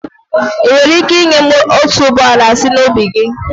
Ị́ nwere ike ị́nye m otuboala sị na ubi gị?